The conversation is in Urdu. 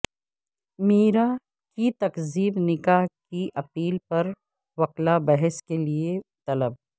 میرا کی تکذیب نکاح کی اپیل پر وکلا بحث کیلئے طلب